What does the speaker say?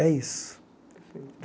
É isso.